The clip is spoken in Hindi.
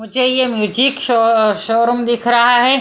मुझे ये म्यूजिक शो शोरूम दिख रहा है।